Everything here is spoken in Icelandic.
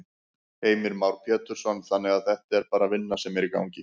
Heimir Már Pétursson: Þannig að þetta er bara vinna sem er í gangi?